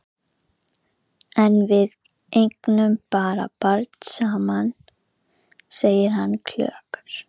En við eigum barn saman, segir hann klökkur.